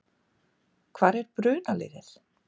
Hvar er brunaliðið?